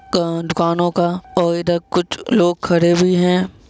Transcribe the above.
कान दुकानों का और इधर कुछ लोग खड़े हुए है।